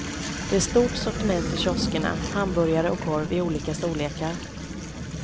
Det är stort sortiment i kioskerna, hamburgare och korv i olika storlekar.